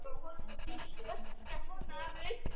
En hvers vegna þessi deyfð?